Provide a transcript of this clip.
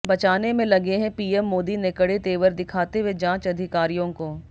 बचाने में लगे हैं पीएम मोदी ने कड़े तेवर दिखाते हुए जांच अधिकारीयों को